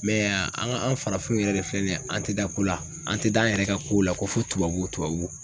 Mɛ yan an ka an farafinw yɛrɛ de filɛ nin ye an tɛ da ko la an tɛ da an yɛrɛ ka kow la ko fo tubabu tubabu